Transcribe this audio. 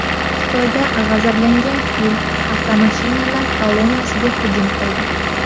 Xitoyda g‘azablangan fil avtomashinalar kolonnasiga hujum qildi .